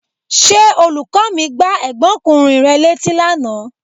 Ṣé olùkọ́ mi gbá ẹ̀gbọ́nkùnrin rẹ létí lánàá?